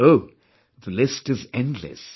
Oh, the list is endless